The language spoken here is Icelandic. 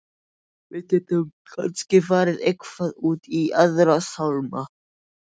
Við gætum kannski farið eitthvað út í Aðra sálma.